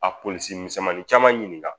A polisi misɛnmanin caman ɲininka